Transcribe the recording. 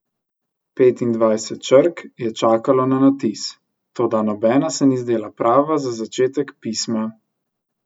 Petindvajset črk je čakalo na natis, toda nobena se ni zdela prava za začetek pisma.